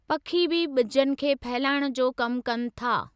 पखी बि ॿिजनि खे फैलाइण जो कमु कनि था।